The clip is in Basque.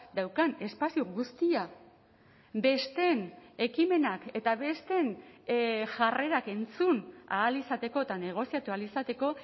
daukan espazio guztia besteen ekimenak eta besteen jarrerak entzun ahal izateko eta negoziatu ahal izateko